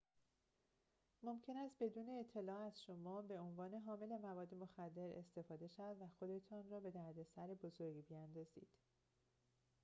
ممکن است بدون اطلاع از شما به عنوان حامل مواد مخدر استفاده شود و خودتان را به دردسر بزرگی بیاندازید